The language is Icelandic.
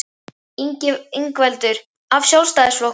Ingveldur: Af Sjálfstæðisflokknum?